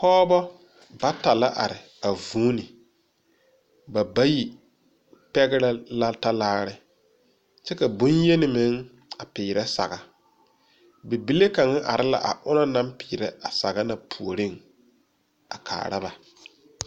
Pɔgba bata la arẽ a zuũni ba bayi pɛgrɛ la talaare kye ka bunyeni meng a piere sagre bibile kang arẽ la a ɔna nang piere a sagre na poɔring a kaara ba.